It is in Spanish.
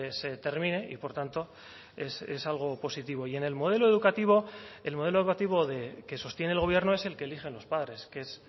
se termine y por tanto es algo positivo y en el modelo educativo el modelo educativo que sostiene el gobierno es el que eligen los padres que es